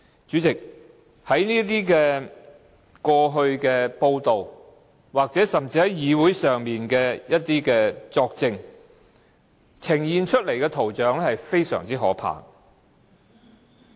主席，根據過去的報道，以及在會議上的作證，呈現出來的圖像非常可怕。